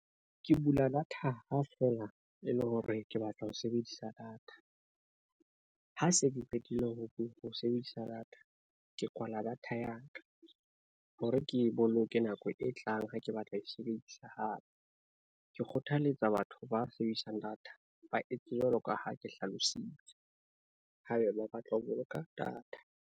Ke bula data ha fela e le hore ke batla ho sebedisa data. Ha se ke qetile ho sebedisa data, ke kwala data ya ka, hore ke e boloke nako e tlang ha ke batla ho e sebedisa hape. Ke kgothaletsa batho ba sebedisang data ba etse jwalo ka ha ke hlalositse, haebe ba batla ho boloka data.